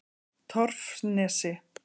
Torfnesi